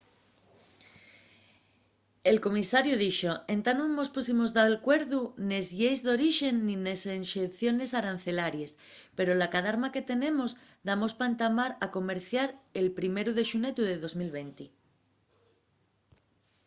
el comisariu dixo entá nun mos punximos d’acuerdu nes lleis d’orixe nin nes exenciones arancelaries pero la cadarma que tenemos damos pa entamar a comerciar el primeru de xunetu de 2020